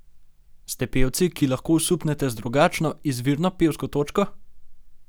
Ste pevci, ki lahko osupnete z drugačno, izvirno pevsko točko?